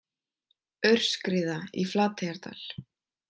Aurskriða í Flateyjardal